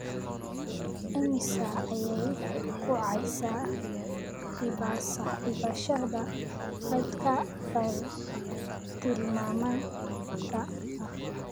Immisa ayay ku kacaysaa iibsashada kaydka bartilmaameedka ah?